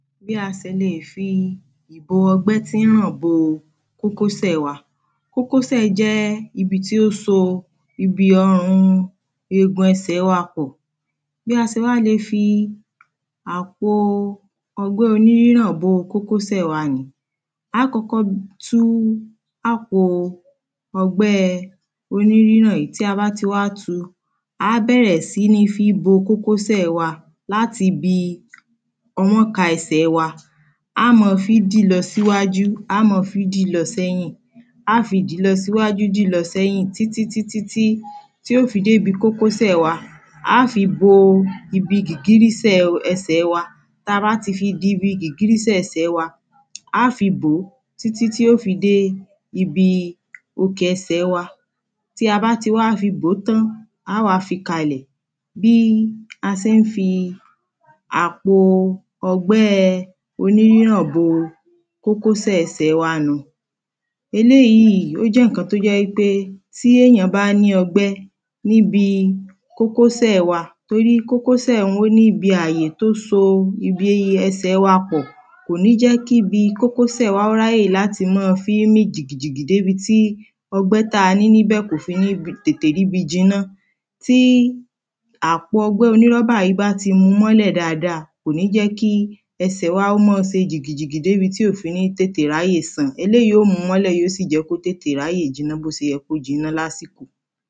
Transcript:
bí a se lè fi ìbo ọgbẹ́ tín hàn bo kókósẹ̀ kókósẹ̀ jẹ́ ibi tí ó so ibi ọn ọn ọn egun ẹsẹ̀ wa pọ̀ bí a se wá le fi àpo ọgbẹ́ oníríríhàn bo kókósẹ̀ aá kọ́kọ́ tú àpo ọgbẹ́ oní ríràn yìí tí a ba ti wá tu, á bẹ̀rẹ̀ sí ní fí bo kókósẹ̀ wa láti bi ọwọ́nka ẹsẹ̀ wa á má fí dìí lọ síwájú, á má fí dì lọ sẹ́yìn. a fi dìí lọ síwájú dìí lọ sẹ́yìn títí tí tí ó fi dé ibi kókósẹ̀ wa aá fi bo ibi gìgírísẹ̀ ẹsẹ̀ wa ta bá ti fi bo ibi gìgírísẹ̀ ẹsẹ̀ wa, aá fi bòó títí tí óò fi dé ibi okè ẹsẹ̀ tí a bá ti wá fi bòó tán, aá fi kalẹ̀ bí a se ń fi àpo ọgbẹ́ oníríràn bo kókósẹ̀ ẹsẹ̀ nùhun eléyìí ó jẹ́ í pé tí èyàn bá ní ọgbẹ́ níbi kókósẹ̀ wa, torí kókósẹ̀ hun ó níbi àyè tó so ibi ẹsẹ̀ wa pọ̀ kò ní jẹ́ kí bi kókósẹ̀ wa ráyè láti máa fí mì jìgìjìgì dé bi tí ọgbẹ́ táa ní níbẹ̀ kò fi ní tètè ríbi jiná tí àpo ọgbẹ́ oní rọ́bà yìí bá ti múu mọ́lẹ̀ dáadáa, kò ní jẹ́ kí ẹsẹ̀ wa ó máa se jì jìgìjìgì dé bi tí ò fi ní tètè ráyè sàn. eléyìí óò múu mọ́lẹ̀ tí ò fi tètè ráyè jiná bó se yẹ kó jiná lásìkò